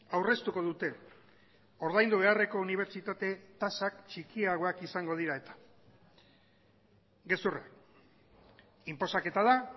aurreztuko dute ordaindu beharreko unibertsitate tasak txikiagoak izango dira eta gezurra inposaketa da